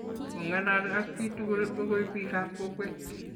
Kungalal ak chii tugul okoi biikab kokweek